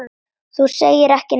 Þú segir ekki neitt.